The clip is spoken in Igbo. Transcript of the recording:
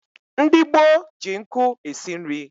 Ndị gboo ji nkụ esi nri